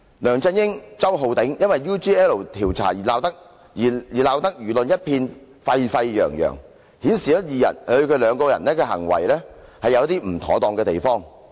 梁振英及周浩鼎議員因 UGL 調查而鬧得輿論一片沸沸揚揚，顯示二人行事確有不妥當的地方。